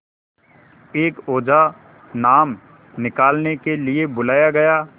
एक ओझा नाम निकालने के लिए बुलाया गया